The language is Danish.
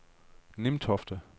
Nimtofte